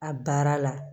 A baara la